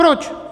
Proč?